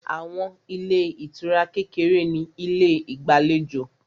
Àwọn ilé ìtura kékeré ní ilé ìgbàlejò